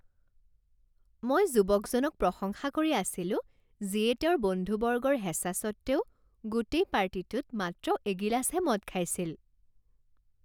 মই যুৱকজনক প্ৰশংসা কৰি আছিলো যিয়ে তেওঁৰ বন্ধুবৰ্গৰ হেঁচা স্বত্বেও গোটেই পাৰ্টিটোত মাত্ৰ এগিলাচহে মদ খাইছিল।